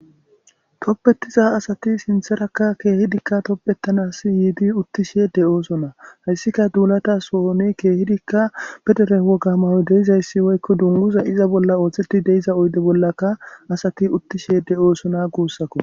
toppetiza asati sintherakka keehidikka toppettanas yiidi uttishe de oosona hayssika duulata so7one keehidikka pedere wogamayo deizayssi woykko dunguza iza bolla ooththeti deiza oyde bollaka asati uttishe de oosona guussakko